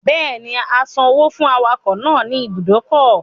Bẹ́ẹ̀ni, a san owó fún awakọ̀ náà ní ibùdó ọkọ̀